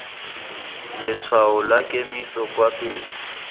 letshwao la kemiso kwa pele